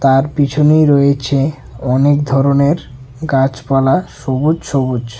তার পিছনেই রয়েছে অনেক ধরনের গাছপালা সবুজ সবুজ।